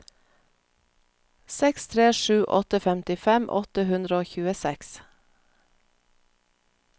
seks tre sju åtte femtifem åtte hundre og tjueseks